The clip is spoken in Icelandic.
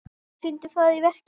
Hún sýndi það í verki.